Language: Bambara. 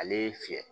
Ale y'i fiyɛ